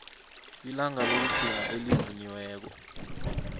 ilanga lokugcina elivunyiweko